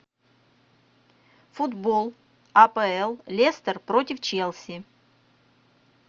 футбол апл лестер против челси